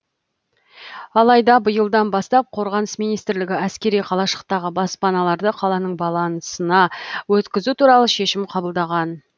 алайда биылдан бастап қорғаныс министрлігі әскери қалашықтағы баспаналарды қаланың балансына өткізу туралы шешім қабылдаған